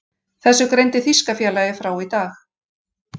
Þessu greindi þýska félagið frá í dag.